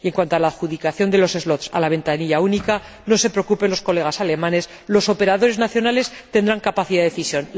Y en cuanto a la adjudicación de los slots a la ventanilla única, no se preocupen los colegas alemanes los operadores nacionales tendrán capacidad de decisión.